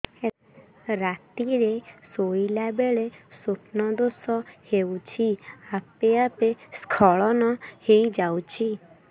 ରାତିରେ ଶୋଇଲା ବେଳେ ସ୍ବପ୍ନ ଦୋଷ ହେଉଛି ଆପେ ଆପେ ସ୍ଖଳନ ହେଇଯାଉଛି